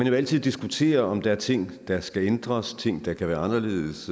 jo altid diskutere om der er ting der skal ændres ting der kan være anderledes